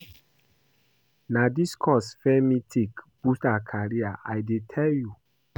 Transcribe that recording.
Na dis course Femi take boost her career I dey tell you